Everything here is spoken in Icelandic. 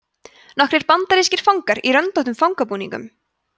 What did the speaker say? nokkrir bandarískir fangar í röndóttum fangabúningum